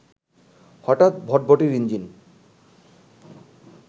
হঠাৎ ভটভটির ইঞ্জিন